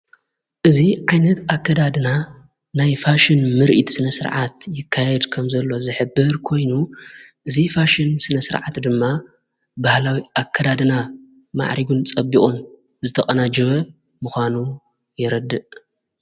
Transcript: እዙ ዓይነት ኣከዳድና ናይ ፋሽን ምርኢት ስነ ሥርዓት ይካየድ ከም ዘሎ ዘሕብር ኮይኑ እዝ ፋሽን ስነ ሥርዓት ድማ ባህላዊ ኣከዳድና ማዕሪጉን ፀቢቁን ዝተቐና ጅበ ምዃኑ የረድእ።